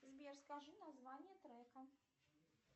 сбер скажи название трека